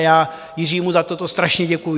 A já Jiřímu za toto strašně děkuju.